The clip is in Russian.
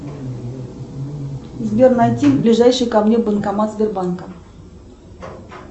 сбер найти ближайший ко мне банкомат сбербанка